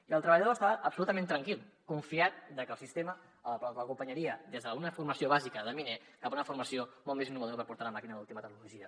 i el treballador estava absolutament tranquil confiat que el sistema l’acompanyaria des d’una formació bàsica de miner cap a una formació molt més innovadora per portar la màquina d’última tecnologia